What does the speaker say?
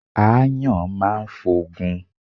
Ááyàn máa ń f'ogun.